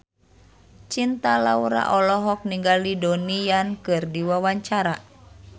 Cinta Laura olohok ningali Donnie Yan keur diwawancara